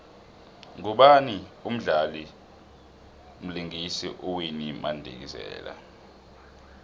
ngubani umdlali vlingisa uwinnie madikizela